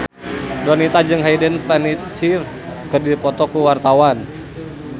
Donita jeung Hayden Panettiere keur dipoto ku wartawan